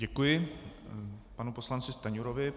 Děkuji panu poslanci Stanjurovi.